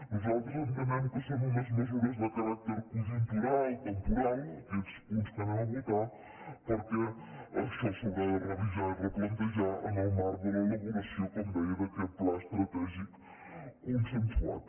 nosaltres entenem que són unes mesures de caràcter conjuntural temporal aquests punts que anem a votar perquè això s’haurà de revisar i replantejar en el marc de l’elaboració com deia d’aquest pla estratègic consensuat